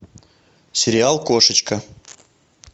сериал кошечка